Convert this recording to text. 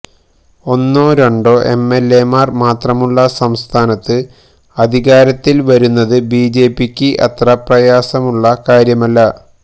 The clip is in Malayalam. ഒന്നോ രണ്ടോ എംഎല്എമാര് മാത്രമുള്ള സംസ്ഥാനത്ത് അധികാരത്തില് വരുന്നത് ബിജെപിക്ക് അത്ര പ്രയാസമുള്ള കാര്യമല്ല